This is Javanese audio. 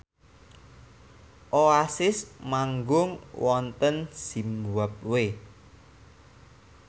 Oasis manggung wonten zimbabwe